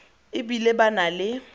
e bile ba na le